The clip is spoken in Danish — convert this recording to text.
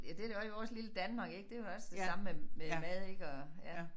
Ja det det også i vores lille Danmark ik det jo også det samme med med mad ik og ja